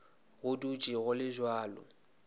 go dutše go le bjalo